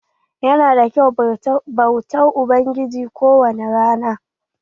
Ya na da kyau bautar ubangiji ko wani rana.